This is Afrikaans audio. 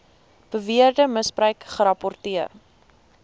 beweerde misbruik gerapporteer